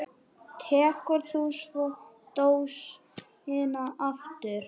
Tekur þú svo dósina aftur?